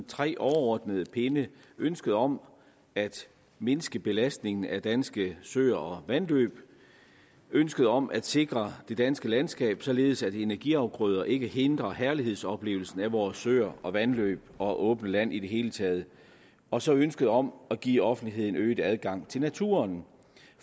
tre overordnede pinde ønsket om at mindske belastningen af danske søer og vandløb ønsket om at sikre det danske landskab således at energiafgrøder ikke hindrer herlighedsoplevelsen af vores søer og vandløb og åbne land i det hele taget og så ønsket om at give offentligheden øget adgang til naturen